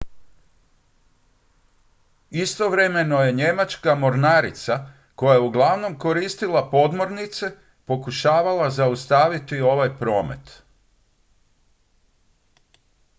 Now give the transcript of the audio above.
istovremeno je njemačka mornarica koja je uglavnom koristila podmornice pokušavala zaustaviti ovaj promet